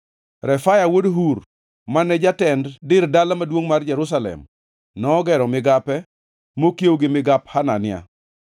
Refaya wuod Hur, mane jatend dir dala maduongʼ mar Jerusalem, nogero migape mokiewo gi migap Hanania.